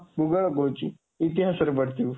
ଭୂଗୋଳ କହୁଛି, ଇତିହାସରେ ପଢ଼ିଥିବୁ,